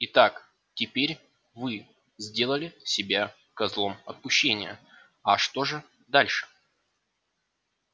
итак теперь вы сделали себя козлом отпущения а что же дальше